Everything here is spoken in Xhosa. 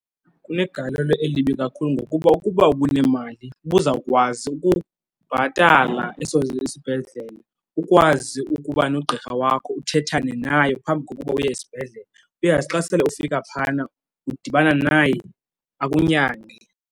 Kunegalelo elibi kakhulu ngokuba ukuba uba unemali, ubuzawukwazi ukubhatala isibhedlele, ukwazi ukuba nogqirha wakho uthethane naye phambi kokuba uye esibhedlele. Uyazi xa sele ufika phaana udibana naye akunyange.